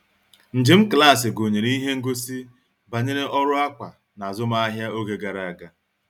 Njem klaasị gụnyere ihe ngosi banyere ọrụ akwa n'azụmahịa oge gara aga.